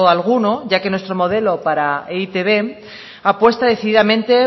alguno ya que nuestro modelo para e i te be apuesta decididamente